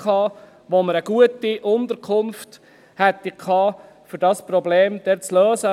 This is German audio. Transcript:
Dort hätten wir eine gute Unterkunft gehabt, um dieses Problem dort zu lösen.